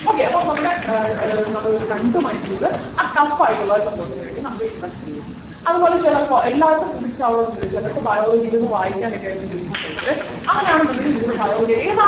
okay അപ്പോൾ നമ്മളു ഏർ ഏർ നമ്മളൊരു ഒരു രണ്ടുമണിക്കൂർ ആ tough ആയിട്ടുള്ള ഒരു സംഭവത്തിന് വേണ്ടി നമ്മള് invest ചെയ്യുവാണ് അതുപോലെ ചിലർക്ക് എല്ലാവർക്കും physics ആവണം ന്നില്ല ചിലർക്ക് biology ഇരുന്നു വായിക്കാൻ ഒക്കെ ആയിരിക്കും ബുദ്ധിമുട്ടുള്ളവർ അങ്ങനെയാണെന്നുണ്ടെങ്കിൽ നിങ്ങൾ biology ഏതാണോ